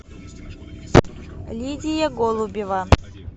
лидия голубева